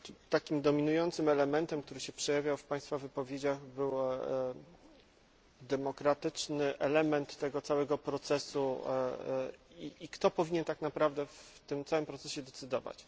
Takim dominującym elementem, który się przejawiał w państwa wypowiedziach był element demokratyczny tego całego procesu i kto powinien tak naprawdę w tym całym procesie decydować.